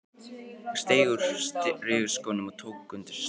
Steig upp úr strigaskónum og tók undir sig stökk.